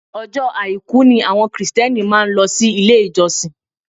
Ọjọ́ àìkú ni àwọn kìrìtíẹ́nì máa ń lọ ilé ìjọsìn